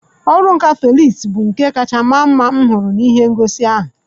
Ọrụ nka Felix bụ nka kacha mara mma m hụrụ n'ihe ngosi ahụ